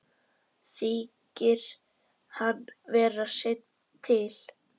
Þykir hann vera seinn til.